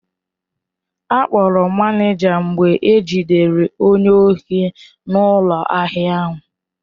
Akpọrọ manịja mgbe ejidere onye ohi n'ụlọ ahịa ahụ.